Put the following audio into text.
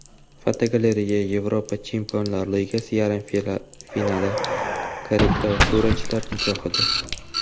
Fotogalereya: Yevropa Chempionlar Ligasi yarim finali karikaturachilar nigohida.